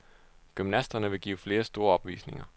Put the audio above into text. Gymnasterne vil give flere store opvisninger.